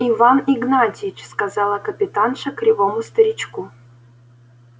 иван игнатьич сказала капитанша кривому старичку